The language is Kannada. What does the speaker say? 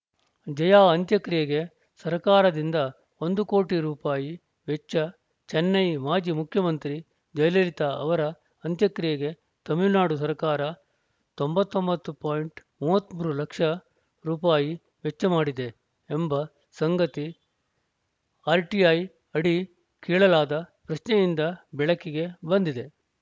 ಜಯಾ ಅಂತ್ಯಕ್ರಿಯೆಗೆ ಸರ್ಕಾರದಿಂದ ಒಂದು ಕೋಟಿ ರೂಪಾಯಿ ಅಳವಡಿ ವೆಚ್ಚ ಚೆನ್ನೈ ಮಾಜಿ ಮುಖ್ಯಮಂತ್ರಿ ಜಯಲಲಿತಾ ಅವರ ಅಂತ್ಯಕ್ರಿಯೆಗೆ ತಮಿಳುನಾಡು ಸರ್ಕಾರ ತೊಂಬತ್ತ್ ಒಂಬತ್ತು ಮೂವತ್ತ್ ಮೂರು ಲಕ್ಷ ರೂಪಾಯಿ ವೆಚ್ಚ ಮಾಡಿದೆ ಎಂಬ ಸಂಗತಿ ಆರ್‌ಟಿಐ ಅಡಿ ಕೇಳಲಾದ ಪ್ರಶ್ನೆಯಿಂದ ಬೆಳಕಿಗೆ ಬಂದಿದೆ